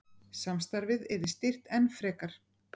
Samstarfið yrði styrkt enn frekar